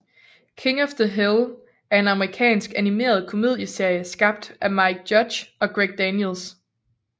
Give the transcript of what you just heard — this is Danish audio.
King of the Hill er en amerikansk animeret komedieserie skabt af Mike Judge og Greg Daniels